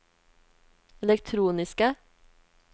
elektroniske